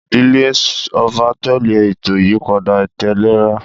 Ìdílé ọba tẹ̀lé ètò ìyípadà ìtẹ̀léra.